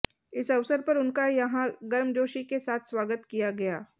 इस अवसर पर उनका यहां गर्मजोशी के साथ स्वागत किया गया